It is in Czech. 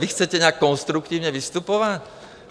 Vy chcete nějak konstruktivně vystupovat?